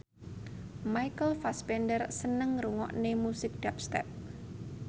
Michael Fassbender seneng ngrungokne musik dubstep